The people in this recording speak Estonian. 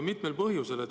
Mitmel põhjusel.